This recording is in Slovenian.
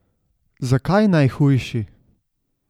Zakaj najhujši?